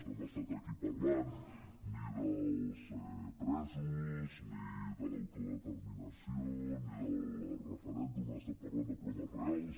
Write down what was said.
no hem estat aquí parlant ni dels presos ni de l’autodeterminació ni del referèndum hem estat parlant de problemes reals